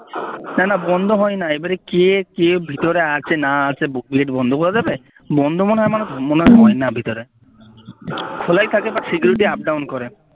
না না বন্ধ হয়না এবারে কে কে ভিতরে আছে না আছে গেট বন্ধ করে দেবে বন্ধ মনে হয় মনে হয় আমার হয়না ভিতরে খোলাই থাকে বা security up down করে